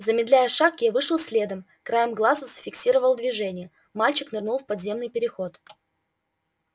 замедляя шаг я вышел следом краем глаза зафиксировал движение мальчик нырнул в подземный переход